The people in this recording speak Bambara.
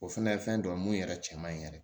O fɛnɛ ye fɛn dɔ ye mun yɛrɛ cɛ man ɲi yɛrɛ